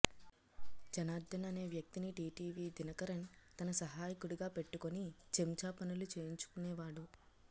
జనార్దన్ అనే వ్యక్తిని టీటీవీ దినకరన్ తన సహాయకుడిగా పెట్టుకుని చెంచ్మా పనులు చేయించుకునేవాడు